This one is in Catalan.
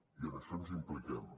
i en això ens impliquem